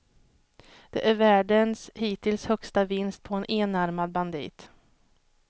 Det är världens hittills högsta vinst på en enarmad bandit.